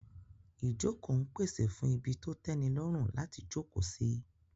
Ìjókòó ń pèsè fún ibi tó tẹ́nilọ́rùn láti jókòó sí